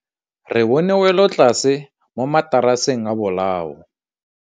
Re bone wêlôtlasê mo mataraseng a bolaô.